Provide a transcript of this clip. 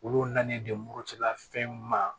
Olu nalen don murutila fɛn ma